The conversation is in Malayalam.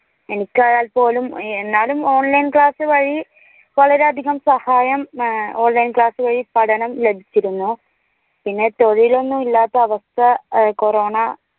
എനിക്കായാൽ പോലും എന്നാലും online class വഴി വളരെയധികം സഹായം online class വഴി പഠനം ലഭിച്ചിരുന്നു പിന്നെ തൊഴിൽ ഒന്നും ഇല്ലാത്ത അവസ്ഥ കൊറോണ